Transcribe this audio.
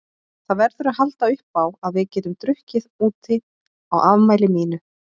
Það verður að halda uppá að við getum drukkið úti á afmælinu mínu.